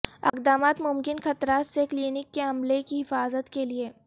اقدامات ممکن خطرات سے کلینک کے عملے کی حفاظت کے لئے